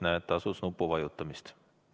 Näed, tasus nuppu vajutada.